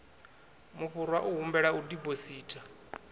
mufhurwa u humbelwa u diphositha